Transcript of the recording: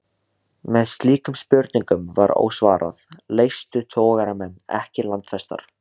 Meðan slíkum spurningum var ósvarað, leystu togaramenn ekki landfestar.